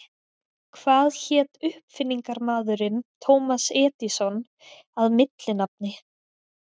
Hvað hét uppfinningarmaðurinn Thomas Edison að millinafni?